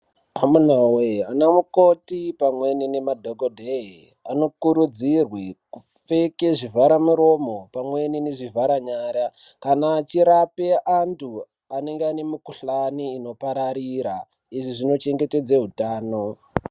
Amuna woke ana mukoti nemadhokedheya anokurudzirwe kupfeke zvivhara miromo pamwe nezvivhara nyara kana achirape andu anenge anenge ane mukuhlani inopararira izvi zvinochengetedze utano.